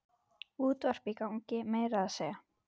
Útvarp í gangi meira að segja.